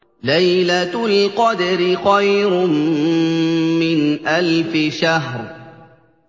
لَيْلَةُ الْقَدْرِ خَيْرٌ مِّنْ أَلْفِ شَهْرٍ